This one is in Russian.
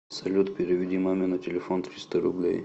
салют переведи маме на телефон триста рублей